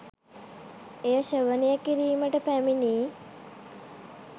එය ශ්‍රවණය කිරීමට පැමිණි